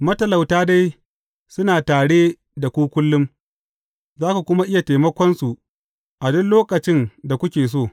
Matalauta dai suna tare da ku kullum, za ku kuma iya taimakonsu a duk lokacin da kuke so.